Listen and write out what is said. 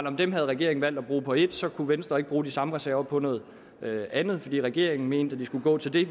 at dem havde regeringen valgt at bruge på et og så kunne venstre ikke bruge de samme reserver på noget andet fordi regeringen mente at de skulle gå til det